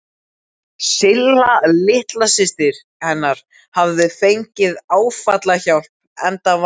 Silla litla systir hennar hafði fengið áfallahjálp, enda var